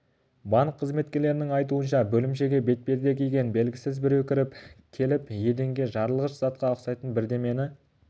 банк қызметкерлерінің айтуынша бөлімшеге бетперде киген белгісіз біреу кіріп келіп еденге жарылғыш затқа ұқсайтын бірдемені